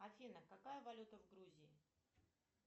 афина какая валюта в грузии